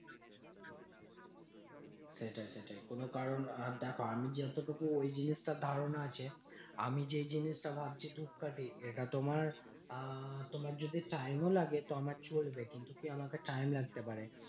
সেটাই সেটাই। কোনো কারণ দেখো আমিযতটুকু ওই জিনিসটার ধারণা আছে। আমি যেই জিনিসটা ভাবছি ধূপকাঠি। সেটা তোমার আহ তোমার যদি time ও লাগে তো আমার চলবে। কিন্তু কি আমাকে time লাগতে পারে।